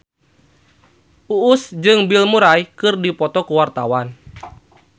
Uus jeung Bill Murray keur dipoto ku wartawan